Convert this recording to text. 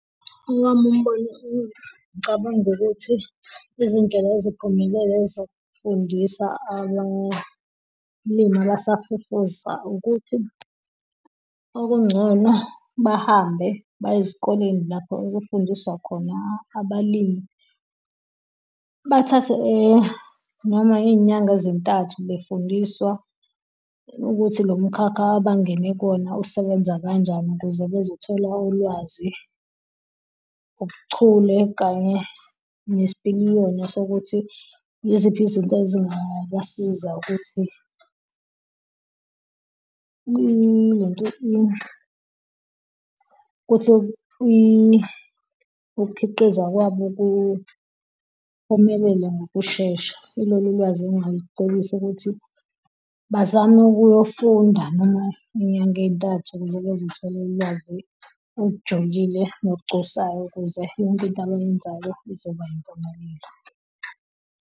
Owami umbono ngicabanga ukuthi izindlela eziphumelele zokufundisa abalimi abasafufusa ukuthi okungcono bahambe baye ezikoleni lapho okufundiswa khona abalimi, bathathe noma izinyanga ezintathu befundiswa ukuthi lo mkhakha abangene kuwona usebenza kanjani ukuze bezothola olwazi, ubuchule kanye nesipiliyoni sokuthi yiziphi izinto ezingabasiza ukuthi ilento ukuthi ukukhiqiza kwabo kuphumelela ngokushesha ilolu ulwazi engingalicebisa ukuthi bazame ukuyofunda noma izinyanga ezintathu zokuzitholela ulwazi olujulile ngokugculisayo ukuze yonke into abayenzayo izoba yimpumelelo.